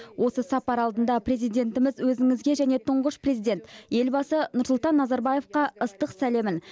осы сапар алдында президентіміз өзіңізге және тұңғыш президент елбасы нұрсұлтан назарбаевқа ыстық сәлемін